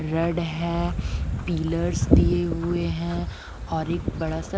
red है pillars दिए हुए हैं और एक बड़ा सा--